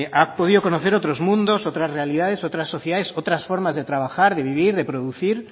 ha podido conocer otros mundos otras realidades otras sociedades otras formas de trabajar de vivir de producir